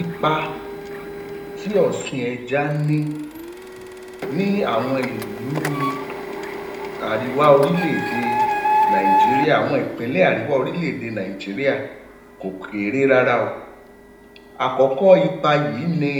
Ipa tí ọ̀sìn ẹja ní ní àwọn ìlúu àríwá orílẹ̀-èdè Nigeria, àwọn ìpínlẹ̀ àríwá orílẹ̀-èdè Nigeria kò kéré rárá o. Àkọ́kọ́ ipa yìí ni